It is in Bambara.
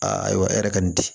Ayiwa e yɛrɛ ka nin di